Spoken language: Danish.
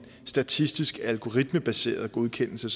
statistisk algoritmebaseret godkendelse